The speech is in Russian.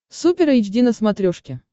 супер эйч ди на смотрешке